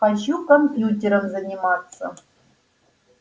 хочу компьютером заниматься